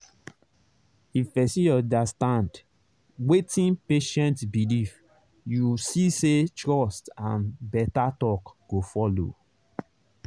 if person understand wetin patient believe you see say trust and better talk go follow.